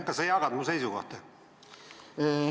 Kas sa jagad mu seisukohta?